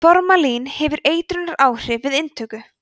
formalín hefur eitrunaráhrif við inntöku